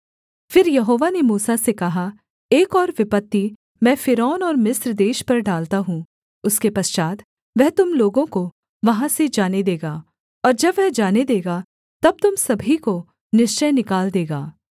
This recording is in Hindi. फिर यहोवा ने मूसा से कहा एक और विपत्ति मैं फ़िरौन और मिस्र देश पर डालता हूँ उसके पश्चात् वह तुम लोगों को वहाँ से जाने देगा और जब वह जाने देगा तब तुम सभी को निश्चय निकाल देगा